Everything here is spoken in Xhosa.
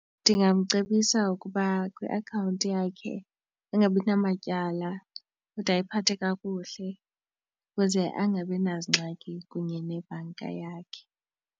Ndingamcebisa ukuba iakhawunti yakhe ingabi namatyala kodwa ayiphathe kakuhle ukuze angabi nazingxaki kunye nebhanka yakhe.